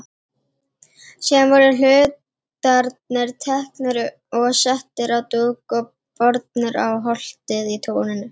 Síðan voru hlutarnir teknir og settir á dúk og bornir á holtið í túninu.